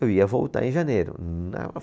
Eu ia voltar em janeiro. Não